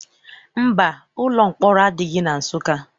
Mba, ụlọ mkpọrọ adịghị na Nsụka.